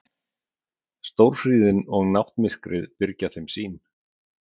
Stórhríðin og náttmyrkrið byrgja þeim sýn.